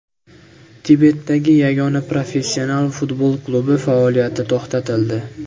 Tibetdagi yagona professional futbol klubi faoliyati to‘xtatildi.